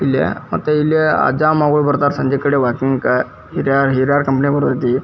ಇಲ್ಲಿ ಮತ್ತೆ ಇಲ್ಲೇ ಅಜ್ಜ ಮಗಳು ಬರ್ತರ್ ಇಲ್ಲಿ ಸಂಜೆ ಕಡೆ ವಾಕಿಂಗ್ ಹಿರಿಯರ್ ಕಂಪನಿ ಕೊಡಿದೈತಿ.